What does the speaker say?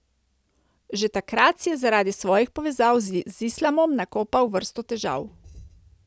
Že takrat si je zaradi svojih povezav z islamom nakopal vrsto težav.